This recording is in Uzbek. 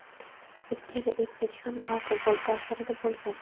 Ikkala erkak ham alkogol ta’sirida bo‘lgan.